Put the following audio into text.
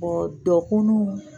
dɔkun